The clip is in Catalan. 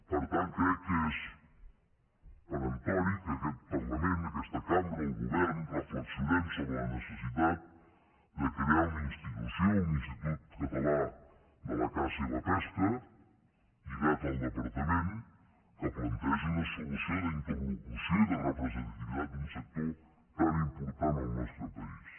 per tant crec que és peremptori que aquest parlament aquesta cambra el govern reflexionem sobre la necessitat de crear una institució un institut català de la caça i la pesca lligat al departament que plantegi una solució d’interlocució i de representativitat d’un sector tan important al nostre país